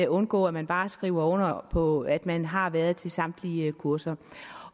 undgå at man bare skriver under på at man har været til samtlige kurser